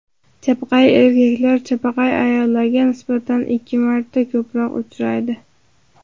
Chapaqay erkaklar chapaqay ayollarga nisbatan ikki marta ko‘proq uchraydi.